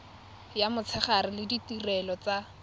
ya motshegare le ditirelo tsa